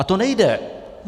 A to nejde!